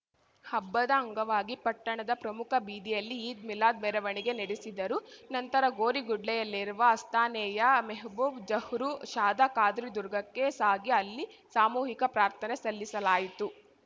ಹಬ್ಬದ ಅಂಗವಾಗಿ ಪಟ್ಟಣದ ಪ್ರಮುಖ ಬೀದಿಯಲ್ಲಿ ಈದ್‌ಮಿಲಾದ್‌ ಮೆರವಣಿಗೆ ನಡೆಸಿದರು ನಂತರ ಗೋರಿಗುಡ್ಲೆಯಲ್ಲಿರುವ ಆಸ್ತಾನಾಯೇ ಮೆಹಬೂಬ್‌ ಝಹೂರು ಷಾದ ಖಾದ್ರಿ ದುರ್ಗಾಕ್ಕೆ ಸಾಗಿ ಅಲ್ಲಿ ಸಾಮೂಹಿಕ ಪ್ರಾರ್ಥನೆ ಸಲ್ಲಿಸಲಾಯಿತು